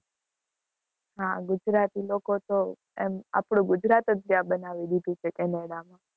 હા ગુજરાતી લોકો તો એમ આપડું ગુજરાત જ ત્યાં બનાવી દીધું છે કેનેડા માં.